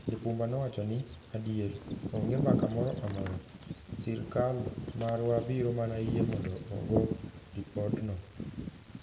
Lipumba nowacho ni, "Adier, onge mbaka moro amora, sirkal marwa biro mana yie mondo ogo ripodno.